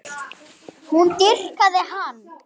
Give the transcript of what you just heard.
Hún dýrkaði hann.